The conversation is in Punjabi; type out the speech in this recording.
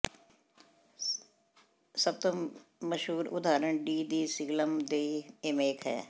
ਸਭ ਤੋਂ ਮਸ਼ਹੂਰ ਉਦਾਹਰਣ ਡੀ ਦੀ ਸਿਗਿਲਮ ਦੇਈ ਏਮੇਥ ਹੈ